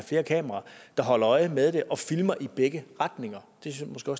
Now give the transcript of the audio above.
flere kameraer der holder øje med det og filmer i begge retninger